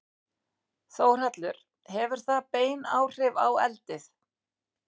Þórhallur: Hefur það bein áhrif á eldið?